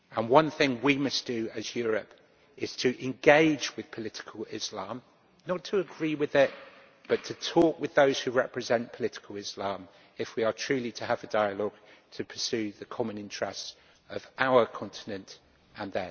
One thing we must do, as Europe, is to engage with political Islam not to agree with them, but to talk with those who represent political Islam if we are truly to have a dialogue to pursue the common interests of our continent and